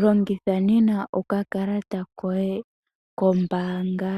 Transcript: Longitha nena oka kalata koye kombaanga